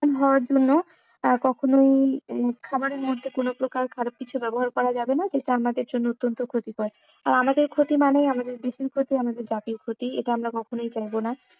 হওয়ার জন্য কখনোই খাওয়ারের মধ্যে কোনো প্রকার খারাপ কিছু ব্যাবহার করা যাবে না যেহেতু আমাদের জন্য অত্যন্ত ক্ষতিকর আর আমাদের ক্ষতি মানেই আমাদের দেশের ক্ষতি, আমাদের জাতির ক্ষতি এটা আমরা কখনোই চাইবো না।